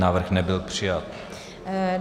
Návrh nebyl přijat.